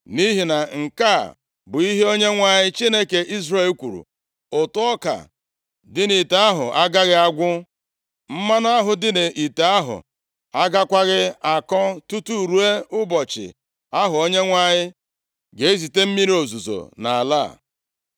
Nʼihi na nke a bụ ihe Onyenwe anyị, Chineke Izrel kwuru, ‘Ụtụ ọka dị nʼite ahụ agaghị agwụ, mmanụ ahụ dị nʼite ahụ agakwaghị akọ tutu ruo ụbọchị ahụ Onyenwe anyị ga-ezite mmiri ozuzo nʼala a.’ ”